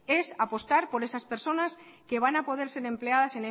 es apostar por esas personas que van a poder ser empleadas